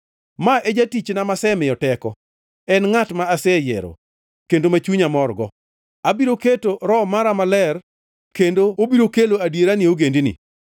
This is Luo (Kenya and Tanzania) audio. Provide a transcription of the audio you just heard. “Ma e jatichna masemiyo teko, en e ngʼat ma aseyiero, kendo ma chunya morgo, abiro keto Roho mara Maler kendo obiro kelo adiera ne ogendini.